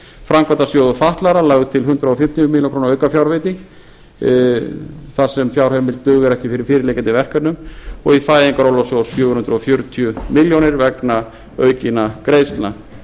framkvæmdasjóður fatlaðra lagði til hundrað fimmtíu milljónir króna aukafjárveitingu þar sem fjárheimild dugar ekki fyrir fyrirliggjandi verkefnum og í fæðingarorlofssjóð fjögur hundruð fjörutíu milljónir vegna aukinna greiðslna